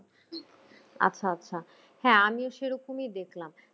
আচ্ছা আচ্ছা হ্যাঁ আমিও সেরকমই দেখলাম